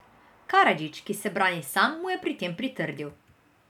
Karadžić, ki se brani sam, mu je pri tem pritrdil.